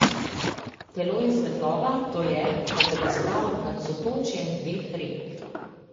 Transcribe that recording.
Telo in svetloba, to je, kot da bi stal nad sotočjem dveh rek.